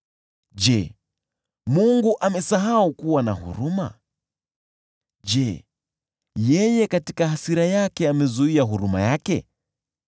Je, Mungu amesahau kuwa na huruma? Je, katika hasira amezuia huruma yake?”